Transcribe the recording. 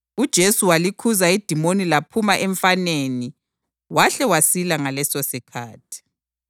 UJesu walikhuza idimoni laphuma emfaneni wahle wasila ngalesosikhathi.